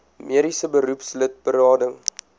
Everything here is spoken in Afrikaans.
mediese beroepslid berading